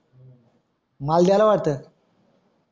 माल गेला वाटत